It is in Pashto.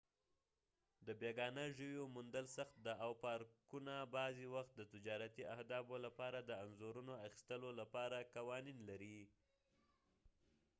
د بیګانه ژویو موندل سخت دي او پارکونه بعضې وخت د تجارتي اهدافو لپاره د انځورونو اخیستلو لپاره قوانین لري